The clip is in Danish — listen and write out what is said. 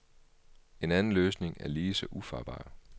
En anden løsning er lige så ufarbar.